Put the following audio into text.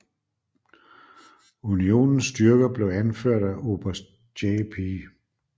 Unionens styrker blev anført af oberst John P